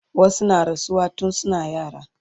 wasu na rasuwa tun suna yara